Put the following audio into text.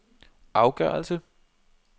afgørelse